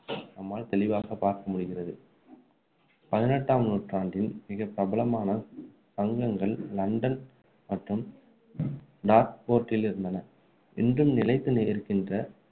நம்மால் தெளிவாக பார்க்க முடிகிறது பதினெட்டாம் நூற்றாண்டில் மிகப்பிரபலமான சங்கங்கள் லண்டன் மற்றும் டார்ட்போர்டில் இருந்தன இன்றும் நிலைத்து நிற்கின்ற